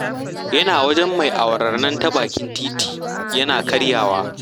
Yana wajen mai awarar nan ta bakin titi yana karyawa